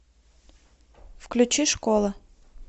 включи школа